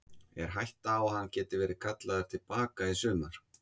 Er hætta á að hann geti verið kallaður til baka í sumar?